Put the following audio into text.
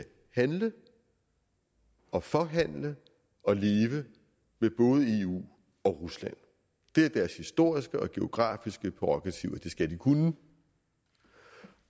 handle og forhandle og leve med både eu og rusland det er deres historiske og geografiske prærogativ at de skal kunne det